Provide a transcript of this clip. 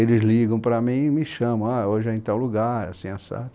Eles ligam para mim e me chamam, hoje é em tal lugar, assim, assado.